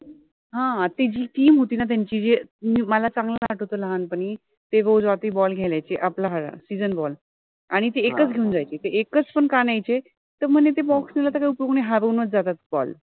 हा ति जि team होति न त्यांचि ति मला चांगल्याने आठवतोय लहानपणि ते जो ball घ्यायला यायचे आपला हा season ball